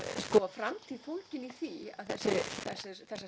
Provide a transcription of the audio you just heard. framtíð fólgin í því að þessar